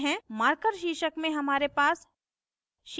marker शीर्षक में हमारे पास